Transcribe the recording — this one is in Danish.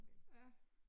Ja